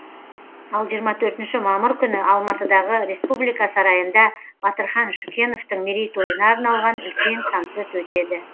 ал жиырма төртінші мамыр күні алматыдағы республика сарайында батырхан шүкеновтың мерейтойына арналған үлкен концерт өтеді